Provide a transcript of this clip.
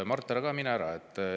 Mart, ära mine ära.